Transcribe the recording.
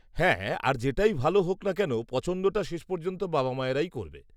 -হ্যাঁ, আর যেটাই ভালো হোক না কেন পছন্দটা শেষ পর্যন্ত বাবা মায়েরাই করবে।